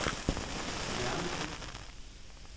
nærmeste